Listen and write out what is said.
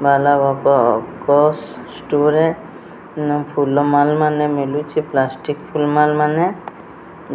ଷ୍ଟୋରରେ ବିଭିନ୍ନ ଫୁଲ ମାଲ୍ ମାନେ ମିଲୁଚି ପ୍ଲାଷ୍ଟିକ୍ ଫୁଲ୍ ମାଲ୍ ମାନେ